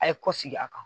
A ye kɔ sigi a kan